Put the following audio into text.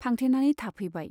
फांथेनानै थाफैबाय।